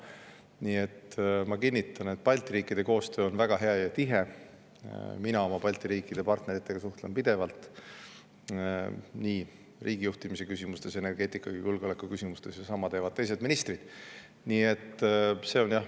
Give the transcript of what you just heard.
Nii et ma kinnitan, et Balti riikide koostöö on väga hea ja tihe, mina oma Balti riikide partneritega suhtlen pidevalt nii riigijuhtimise, energeetika kui ka julgeoleku küsimustes ning sama teevad teised ministrid.